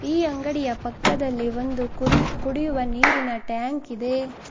ಈ ಅಂಗಡಿಯ ಪಕ್ಕದಲ್ಲಿ ಒಂದು ಕುರಿ ಕುಡಿಯುವ ನೀರಿನ ಟ್ಯಾಂಕ್ ಇದೆ.